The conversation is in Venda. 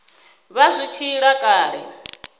vha zwi tshi ila kale